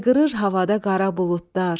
Hayqırır havada qara buludlar,